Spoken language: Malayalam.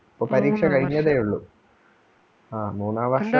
ഇപ്പോ പരീക്ഷ കഴിഞ്ഞതേ ഉള്ളൂ. ആ മൂന്നാം വർഷം